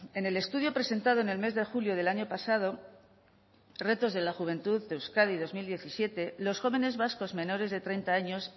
en el estudio presentado en el mes de julio del año pasado retos de la juventud de euskadi dos mil diecisiete los jóvenes vascos menores de treinta años